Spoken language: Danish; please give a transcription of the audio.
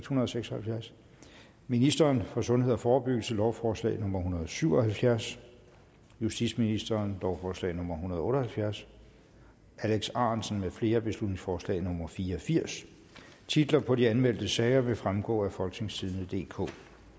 hundrede og seks og halvfjerds ministeren for sundhed og forebyggelse lovforslag nummer hundrede og syv og halvfjerds justitsministeren lovforslag nummer hundrede og otte og halvfjerds alex ahrendtsen med flere beslutningsforslag nummer b fire og firs titler på de anmeldte sager vil fremgå af folketingstidende DK